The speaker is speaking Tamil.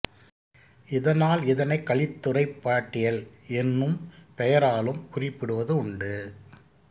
இதனால் இதனைக் கலித்துறைப் பாட்டியல் என்னும் பெயராலும் குறிப்பிடுவது உண்டு